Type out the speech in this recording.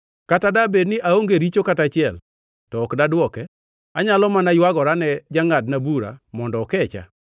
Kata dabed ni aonge richo kata achiel, to ok dadwoke; anyalo mana ywagora ne jangʼadna bura mondo okecha.